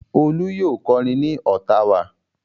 Olú yóò kọrin ní Ottawa.